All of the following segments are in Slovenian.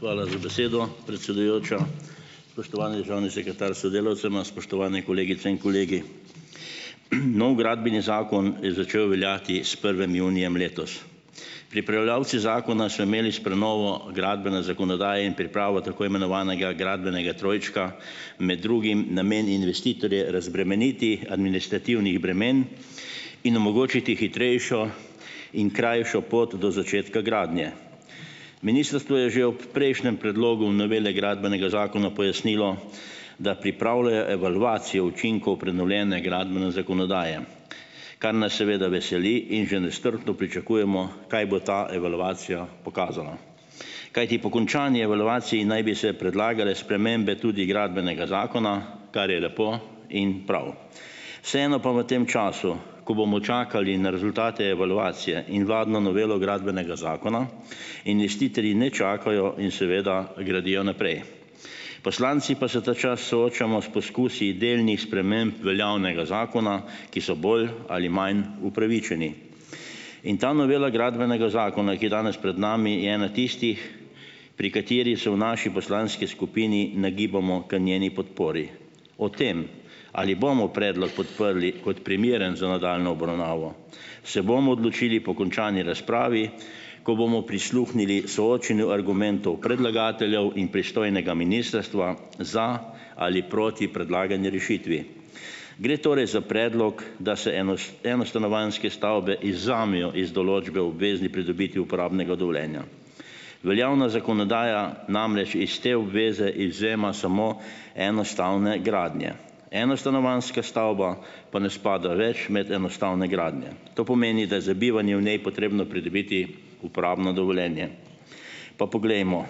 Hvala za besedo, predsedujoča. Spoštovani državni sekretar s sodelavcema, spoštovane kolegice in kolegi. Novi gradbeni zakon je začel veljati s prvim junijem letos. Pripravljavci zakona so imeli s prenovo gradbene zakonodaje in pripravo tako imenovanega gradbenega trojčka med drugim namen investitorje razbremeniti administrativnih bremen in omogočiti hitrejšo in krajšo pot do začetka gradnje. Ministrstvo je že ob prejšnjem predlogu novele gradbenega zakona pojasnilo, da pripravljajo evalvacijo učinkov prenovljene gradbene zakonodaje, kar nas seveda veseli, in že nestrpno pričakujemo, kaj bo ta evalvacija pokazala, kajti po končani evalvaciji naj bi se predlagale spremembe tudi gradbenega zakona, kar je lepo in prav. Vseeno pa v tem času, ko bomo čakali na rezultate evalvacije in vladno novelo gradbenega zakona, investitorji ne čakajo in seveda gradijo naprej. Poslanci pa se ta čas soočamo s poskusi delnih sprememb veljavnega zakona, ki so bolj ali manj upravičeni. In ta novela gradbenega zakona, ki je danes pred nami, je ena tistih, pri kateri se v naši poslanski skupini nagibamo k njeni podpori. O tem, ali bomo predlog podprli kot primeren za nadaljnjo obravnavo, se bomo odločili po končani razpravi, ko bomo prisluhnili soočenju argumentov predlagateljev in pristojnega ministrstva, za ali proti predlagani rešitvi. Gre torej za predlog, da se eno- enostanovanjske stavbe izvzamejo iz določbe o obvezni pridobitvi uporabnega dovoljenja. Veljavna zakonodaja namreč iz te obveze izvzema samo enostavne gradnje, enostanovanjska stavba pa ne spada več med enostavne gradnje. To pomeni, da je za bivanje v njej potrebno pridobiti uporabno dovoljenje. Pa poglejmo.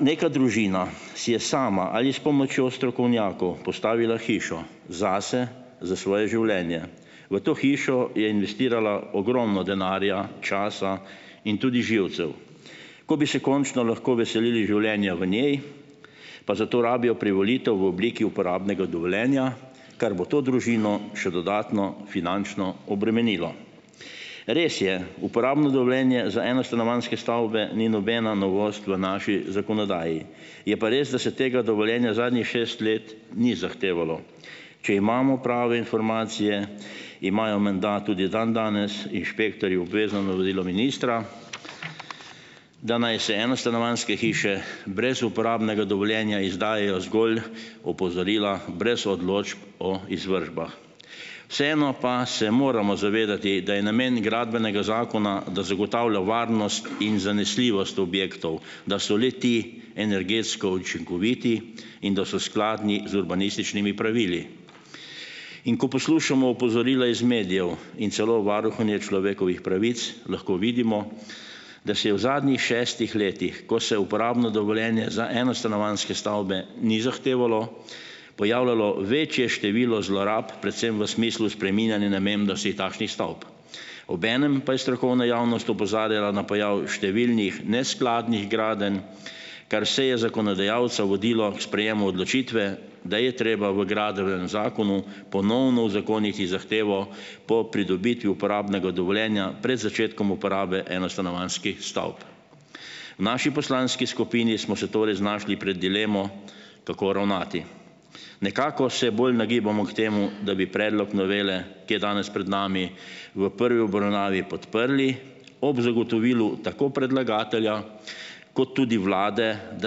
neka družina si je sama ali s pomočjo strokovnjakov postavila hišo zase, za svoje življenje. V to hišo je investirala ogromno denarja, časa in tudi živcev. Ko bi se končno lahko veselili življenja v njej, pa zato rabijo privolitev v obliki uporabnega dovoljenja, kar bo to družino še dodatno finančno obremenilo. Res je, uporabno dovoljenje za enostanovanjske stavbe ni nobena novost v naši zakonodaji. Je pa res, da se tega dovoljenja zadnjih šest let ni zahtevalo. Če imamo prave informacije, imajo menda tudi dandanes inšpektorji obvezno navodilo ministra, da naj se enostanovanjske hiše brez uporabnega dovoljenja izdajajo zgolj opozorila brez odločb o izvršbah. Vseeno pa se moramo zavedati, da je namen gradbenega zakona, da zagotavlja varnost in zanesljivost objektov, da so le-ti energetsko učinkoviti in da so skladni z urbanističnimi pravili. In ko poslušamo opozorila iz medijev in celo varuhinje človekovih pravic lahko vidimo, da se je v zadnjih šestih letih, ko se uporabno dovoljenje za enostanovanjske stavbe ni zahtevalo, pojavljalo večje število zlorab, predvsem v smislu spreminjanja namembnosti takšnih stavb. Obenem pa je strokovna javnost opozarjala na pojav številnih neskladnih gradenj, kar vse je zakonodajalca vodilo k sprejemu odločitve, da je treba v gradbenem zakonu ponovno uzakoniti zahtevo po pridobitvi uporabnega dovoljenja pred začetkom uporabe enostanovanjskih stavb. V naši poslanski skupni smo se torej znašli pred dilemo, kako ravnati. Nekako se bolj nagibamo k temu, da bi predlog novele, ki je danes pred nami v prvi obravnavi podprli ob zagotovilu tako predlagatelja, kot tudi vlade, da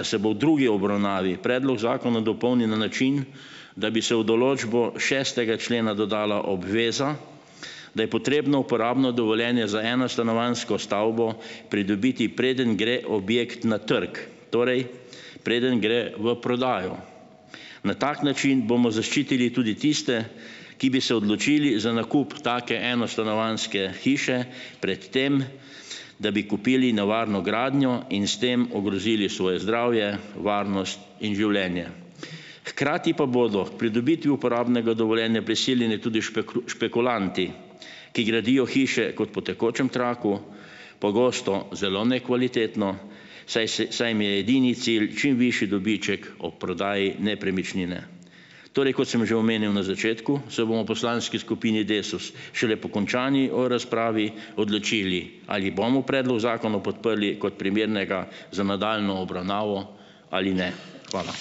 se bo v drugi obravnavi predlog zakona dopolni na način, da bi se v določbo šestega člena dodala obveza, da je potrebno uporabno dovoljenje za enostanovanjsko stavbo pridobiti, preden gre objekt na trg. Torej, preden gre v prodajo. Na tak način bomo zaščitili tudi tiste, ki bi se odločili za nakup take enostanovanjske hiše pred tem, da bi kupili nevarno gradnjo in s tem ogrozili svoje zdravje, varnost in življenje. Hkrati pa bodo k pridobitvi uporabnega dovoljenja prisiljeni tudi špekulanti, ki gradijo hiše kot po tekočem traku, pogosto zelo nekvalitetno, saj se saj jim je edini cilj čim višji dobiček ob prodaji nepremičnine. Torej, kot sem že omenil na začetku, se bomo poslanski skupini Desus šele po končani o razpravi odločili, ali bomo predlog zakona podprli kot primernega za nadaljnjo obravnavo ali ne. Hvala.